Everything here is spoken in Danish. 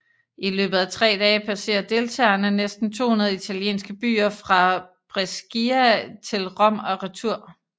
I løbet af 3 dage passerer deltagerne næsten 200 italienske byer fra Brescia til Rom og retur